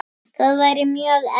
Það væri mjög erfitt.